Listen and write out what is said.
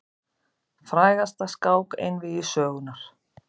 Frægasta skák einvígi sögunnar.